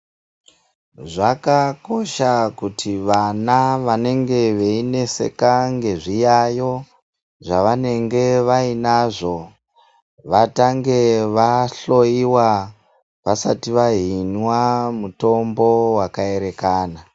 Zvakakosha kuti vana vanenge veineseka nezviyayo zvavanenge vainazvo vatange vahloyiwaa vasati vahinwaa mutombo wakaerekana.